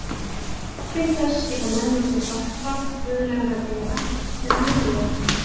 Til þess geta menn notið hjálpar guðlegra vera eða milliliða.